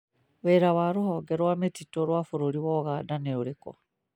Wĩra wa rũhonge rwa mĩtitu rwa bũrũri Uganda nĩ ũrĩkũ?